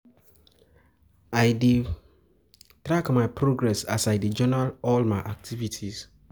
I dey track my progress as I dey journal all my activities.